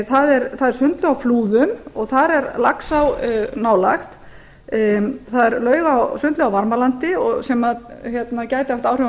það er sundlaug á flúðum og þar er laxá nálægt það er sundlaug á varmalandi sem gæti haft áhrif á norðurá